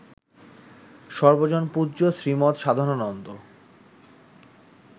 সর্বজনপূজ্য Shrimat Sadhanananda